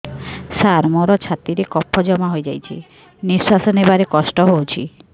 ସାର ମୋର ଛାତି ରେ କଫ ଜମା ହେଇଯାଇଛି ନିଶ୍ୱାସ ନେବାରେ କଷ୍ଟ ହଉଛି